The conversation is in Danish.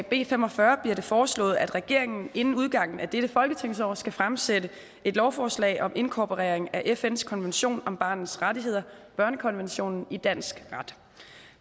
b fem og fyrre bliver det foreslået at regeringen inden udgangen af dette folketingsår skal fremsætte et lovforslag om inkorporering af fns konvention om barnets rettigheder børnekonventionen i dansk ret